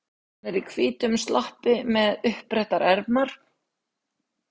Hann er í hvítum sloppi með uppbrettar ermar.